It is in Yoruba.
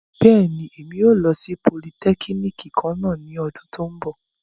Bẹ́ẹ̀ni, Emi yóò lo si polìtẹkínikì kanna ni ọdun ti n bọ.